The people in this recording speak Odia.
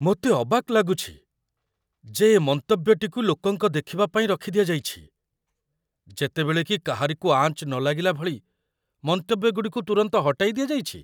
ମୋତେ ଅବାକ୍ ଲାଗୁଛି, ଯେ ଏ ମନ୍ତବ୍ୟଟିକୁ ଲୋକଙ୍କ ଦେଖିବା ପାଇଁ ରଖିଦିଆଯାଇଛି, ଯେତେବେଳେ କି କାହାରିକୁ ଆଞ୍ଚ ନ ଲାଗିଲା ଭଳି ମନ୍ତବ୍ୟଗୁଡ଼ିକୁ ତୁରନ୍ତ ହଟାଇ ଦିଆଯାଇଛି!